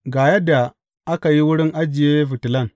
Ga yadda aka yi wurin ajiye fitilan.